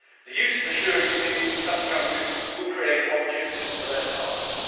The use of assurance schemes in such countries will create opportunities for their farmers.